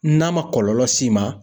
N'a ma kɔlɔlɔ s'i ma.